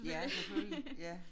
Ja selvfølgelig ja